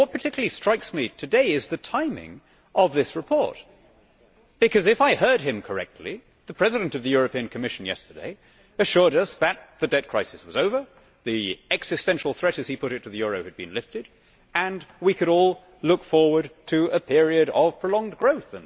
But what particularly strikes me today is the timing of this report, because, if I heard him correctly, the President of the Commission yesterday assured us that the debt crisis was over, the existential threat, as he put it, to the euro has been lifted and we could all look forward to a period of prolonged growth.